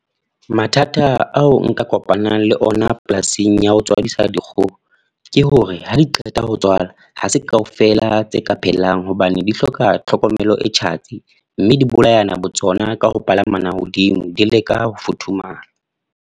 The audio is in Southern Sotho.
Mathata ao nka kopanang le ona polasing ya ho tswadisa dikgoho. Ke hore ha di qeta ho tswalwa, ha se kaofela tse ka phelang. Hobane di hloka tlhokomelo e tjhatsi. Mme di bolayana botsona ka ho palamana hodimo di leka ho futhumala.